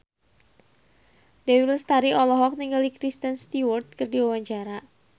Dewi Lestari olohok ningali Kristen Stewart keur diwawancara